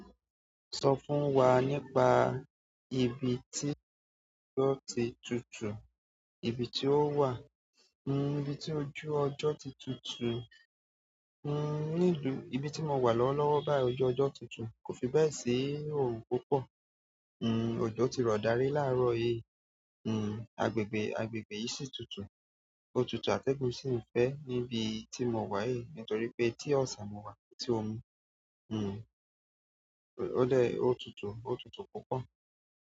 Sọ fún wa nípa ibi tí ọjọ́ ti tutù, ibi tí ó wà. N-n ibi tí ojú ọjọ́ ti tutù. N-n nílu, ibi tí mo wà lọ́wọ́lọ́wọ́ báyìí ọjọ́ ọjọ́ tutù. Kò fi bẹ́ẹ̀ sí i òrun púpọ̀. N-n ọjọ́ ti rọ̀ dárí láàárọ̀ yìí. N-n agbègbè, agbègbè yìí sì tutù. O tutù àtẹ́gùn sì ń fẹ́ níbi tí mo wà yìí torí pé tí ọ̀sán mo wà, tí omi n-n ó lẹ́, ó tutù, ó tutù púpọ̀.